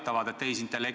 Ärge rääkige EAS-ist!